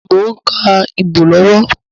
Mo ń ka ibo lọ́wọ́